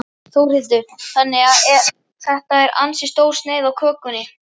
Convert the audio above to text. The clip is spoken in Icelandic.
Þórhildur: Þannig að þetta er ansi stór sneið af kökunni?